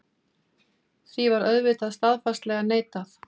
Því var auðvitað staðfastlega neitað.